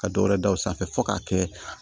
Ka dɔwɛrɛ da o sanfɛ fɔ k'a kɛ